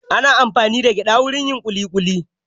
Ana amfani da gyada wajen yin kuli kuli.